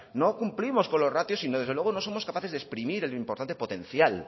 no cumplimos con los ratios sino desde luego no somos capaces de exprimir el importante potencial